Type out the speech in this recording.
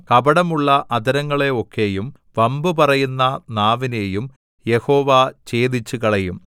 കപടമുള്ള അധരങ്ങളെ ഒക്കെയും വമ്പു പറയുന്ന നാവിനെയും യഹോവ ഛേദിച്ചുകളയും